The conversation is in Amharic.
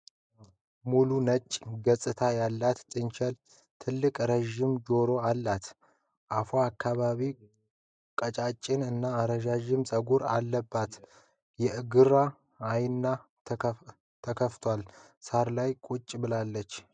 ሙሉ ነጭ ገፅታ ያላት ጥንቸል ትልቅና ረዥም ጆሮ አላት። አፏ አካባቢ ቀጫጭን እና ረዥም ፀጉር አለባት። የግራ አይኗ ተከፍቷል። ሳር ላይ ቁጭ ብላለች።